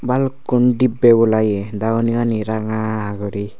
balukkun dibbe bola eya dagoni gani ranga gori.